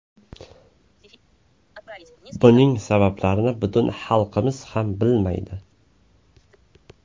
Buning sabablarini butun xalqimiz ham bilmaydi.